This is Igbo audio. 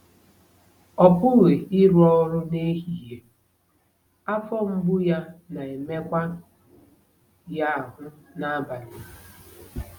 Ọ pụghị ịrụ ọrụ n'ehihie, afọ mgbu ya na-emekwa ya ahụ́ n'abalị.